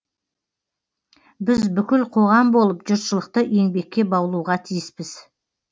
біз бүкіл қоғам болып жұртшылықты еңбекке баулуға тиіспіз